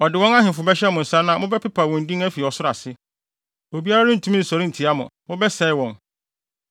Ɔde wɔn ahemfo bɛhyɛ mo nsa na mobɛpepa wɔn din afi ɔsoro ase. Obiara rentumi nsɔre ntia mo; mobɛsɛe wɔn.